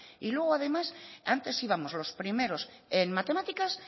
y luego además antes íbamos los primeros en matemáticas